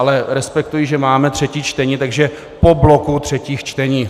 Ale respektuji, že máme třetí čtení, takže po bloku třetích čtení.